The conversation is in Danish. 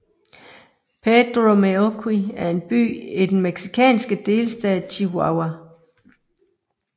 Pedro Meoqui er en by i den mexikanske delstat Chihuahua